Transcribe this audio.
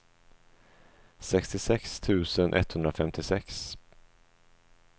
sextiosex tusen etthundrafemtiosex